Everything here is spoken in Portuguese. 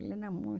Ele era muito bom.